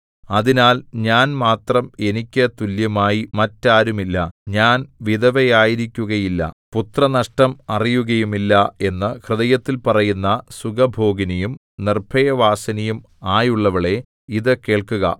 അതിനാൽ ഞാൻ മാത്രം എനിക്ക് തുല്യമായി മറ്റാരുമില്ല ഞാൻ വിധവയായിരിക്കുകയില്ല പുത്രനഷ്ടം അറിയുകയുമില്ല എന്നു ഹൃദയത്തിൽ പറയുന്ന സുഖഭോഗിനിയും നിർഭയവാസിനിയും ആയുള്ളവളേ ഇതു കേൾക്കുക